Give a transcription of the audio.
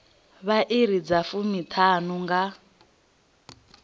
vha iri dza fumiṱhanu nga